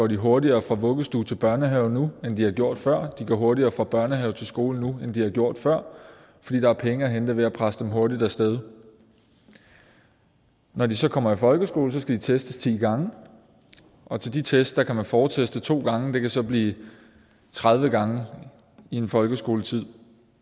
de hurtigere fra vuggestue til børnehave nu end de har gjort før de kommer hurtigere fra børnehave til skole nu end de har gjort før fordi der er penge at hente ved at presse dem hurtigt af sted når de så kommer i folkeskole skal de testes ti gange og til de test kan man forteste to gange og det kan så blive tredive gange i en folkeskoletid